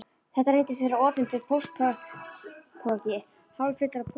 Þetta reyndist vera opinber póstpoki hálffullur af pósti.